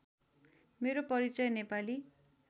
मेरो परिचय नेपाली